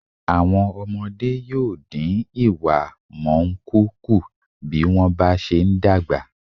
Àwọn ọmọde yóò dín ìwámọ̀unkun kù bí wọ́n bá se ń dàgbà.